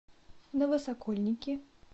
новосокольники